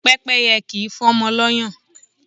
Pẹ́pẹ́yẹ kì í fọ́mọ lọ́yàn.